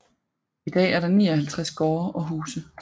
I dag er der 59 gårde og huse